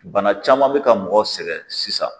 Bana caman bɛ ka mɔgɔ sɛgɛn sisan